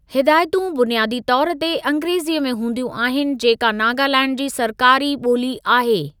हिदायतूं बुनियादी तौर ते अंग्रेज़ीअ में हूंदियूं आहिनि जेका नागालैंड जी सरकारी ॿोली आहे।